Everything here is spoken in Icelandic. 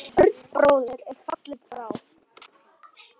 Örn bróðir er fallinn frá.